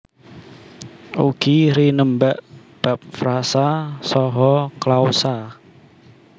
Ugi rinembag bab frasa saha klausa